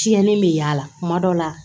Tiɲɛnen bɛ y'a la kuma dɔ la